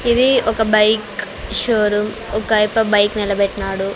ఇది ఒక bike showroom ఒకాయప్ప బైక్ నిలబెట్నాడు.